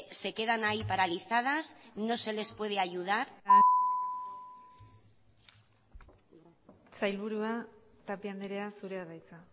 se quedan ahí paralizadas no se les puede ayudar sailburua tapia andrea zurea da hitza